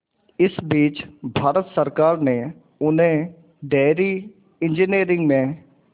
इस बीच भारत सरकार ने उन्हें डेयरी इंजीनियरिंग में